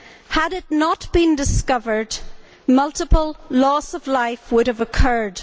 Had it not been discovered, multiple loss of life would have occurred.